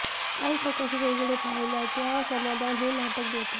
काही सकस वेगळे पाहिल्याचे समाधान हे नाटक देते